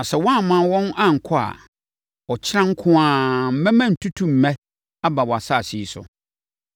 Na sɛ woamma wɔn ankɔ a, ɔkyena nko ara mɛma ntutummɛ aba wʼasase yi so.